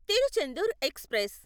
Tiruchendur express